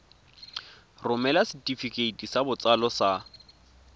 romela setefikeiti sa botsalo sa